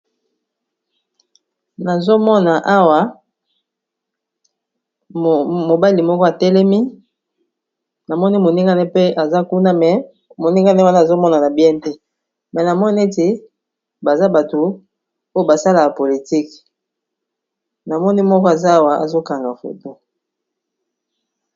Nazomona awa mobali moko atelemi namoni moningane pe aza kuna moningane wana azomona na bien te mais namoni neti bato oyo basalaka politique namoni moko aza awa azokanga photo.